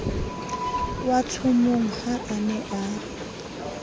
watshomong ha a ne a